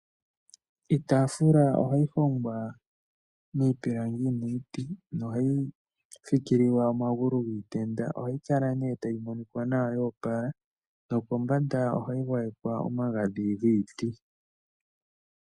Iitafula ohayi hongwa miipilangi niiti, nohayi fikililwa omagulu giitenda. Ohayi kala mee tayi monika nawa ya opala no kombanda ohayi gwayekwa omagadhi giiti.